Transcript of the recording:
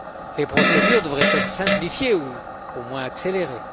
Les procédures devraient être simplifiées ou, au moins, accélérées.